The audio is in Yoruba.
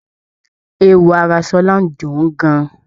Eéwo ara Ṣọlá ń dùn ún gan-an.